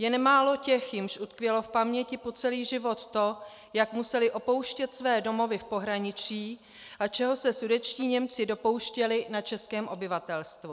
Je nemálo těch, jimž utkvělo v paměti po celý život to, jak museli opouštět své domovy v pohraničí a čeho se sudetští Němci dopouštěli na českém obyvatelstvu.